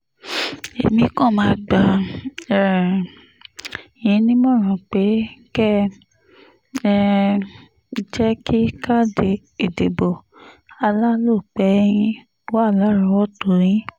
èmi kan máa gbà um yín nímọ̀ràn pé kẹ́ um ẹ jẹ́ kí káàdì ìdìbò alálòpẹ́ yín wà lárọ̀ọ́wọ́tó yín ni